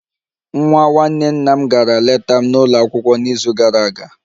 Nwa nwanne nna m gara leta m n'ụlọ akwụkwọ n'izu gara aga